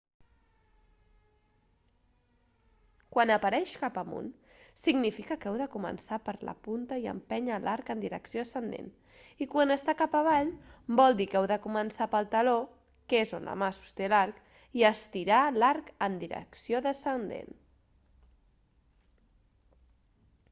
quan apareix cap amunt significa que heu de començar per la punta i empènyer l'arc en direcció ascendent i quan està cap avall vol dir que heu de començar pel taló que és on la mà sosté l'arc i estirar l'arc en direcció descendent